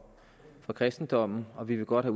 kristendommen og vi vil godt